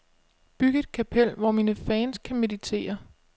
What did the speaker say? Byg et kapel, hvor mine fans kan meditere.